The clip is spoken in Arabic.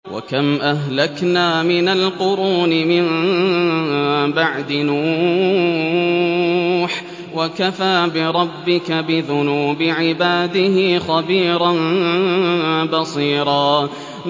وَكَمْ أَهْلَكْنَا مِنَ الْقُرُونِ مِن بَعْدِ نُوحٍ ۗ وَكَفَىٰ بِرَبِّكَ بِذُنُوبِ عِبَادِهِ خَبِيرًا بَصِيرًا